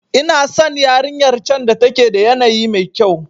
Ina san yarinyar can da take da yanayi mekyau.